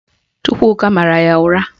Chukwuka mara ya ụra